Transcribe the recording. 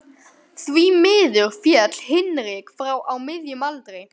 Því miður féll Hinrik frá á miðjum aldri.